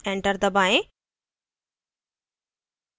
enter दबाएँ